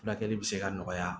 Furakɛli bɛ se ka nɔgɔya